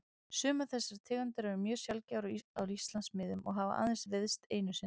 Sumar þessara tegunda eru mjög sjaldgæfar á Íslandsmiðum og hafa aðeins veiðst einu sinni.